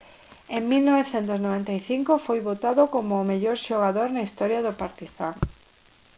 en 1995 foi votado como o mellor xogador na historia do partizan